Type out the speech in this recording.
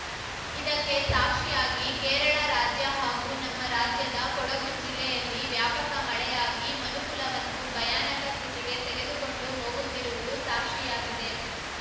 ಇದಕ್ಕೆ ಸಾಕ್ಷಿಯಾಗಿ ಕೇರಳ ರಾಜ್ಯ ಹಾಗೂ ನಮ್ಮ ರಾಜ್ಯದ ಕೊಡಗು ಜಿಲ್ಲೆಯಲ್ಲಿ ವ್ಯಾಪಕ ಮಳೆಯಾಗಿ ಮನುಕುಲವನ್ನು ಭಯಾನಕ ಸ್ಥಿತಿಗೆ ತೆಗೆದುಕೊಂಡು ಹೋಗುತ್ತಿರುವುದು ಸಾಕ್ಷಿಯಾಗಿದೆ